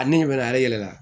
A ni mɛnɛ ale yɛlɛla